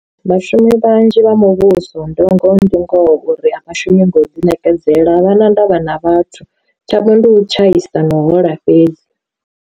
Vhashumi vhanzhi vha muvhuso ndi ngoho ndi ngoho uri a vhashumi ngo ḓi ṋekedzela vhana ndavha na vhathu, tshavho ndi u tshaisa no hola fhedzi.